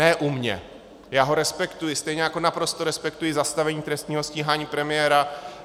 Ne u mě, já ho respektuji, stejně jako naprosto respektuji zastavení trestního stíhání premiéra.